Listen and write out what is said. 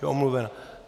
Je omluvena.